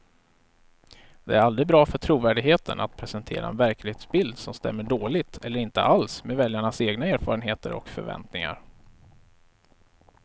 Det är aldrig bra för trovärdigheten att presentera en verklighetsbild som stämmer dåligt eller inte alls med väljarnas egna erfarenheter och förväntningar.